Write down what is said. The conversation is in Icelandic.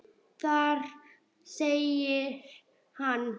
Þar segir hann